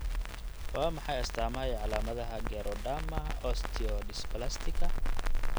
Waa maxay astaamaha iyo calaamadaha Geroderma osteodysplastica?